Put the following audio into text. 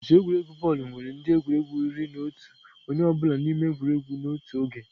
Otu egwuregwu bọọlụ nwere ndị egwuregwu iri na otu onye ọ bụla n'ime egwuregwu n'otu oge.